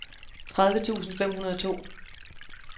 tredive tusind fem hundrede og to